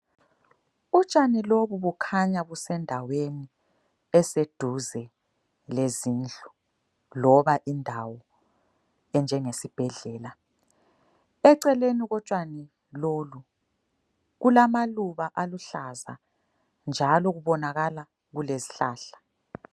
Utshani lobu bukhanya busendaweni eseduze lezindlu, loba indawo enjengesibhedlela. Eceleni kotshani lolu kulamaluba aluhlaza njalo kubonakala kulezihlahla.